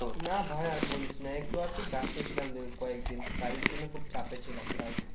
না ভাই আর বলিস না একটু আর কি ব্যস্ত ছিলাম দুই কয়েক দিন কাজের জন্য খুব চাপে ছিলাম তাই